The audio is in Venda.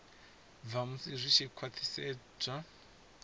bva musi zwi tshi khwathisedzwa